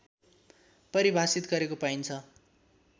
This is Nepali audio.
परिभाषित गरेको पाइन्छ